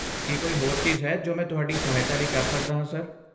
ਕੀ ਕੋਈ ਹੋਰ ਚੀਜ਼ ਹੈ ਜੋ ਮੈਂ ਤੁਹਾਡੀ ਸਹਾਇਤਾ ਲਈ ਕਰ ਸਕਦਾ ਹਾਂ, ਸਰ?